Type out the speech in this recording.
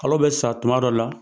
Kalo bɛ sa tuma dɔ la.